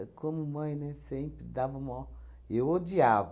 Como mãe, né, sempre dava mó... Eu odiava.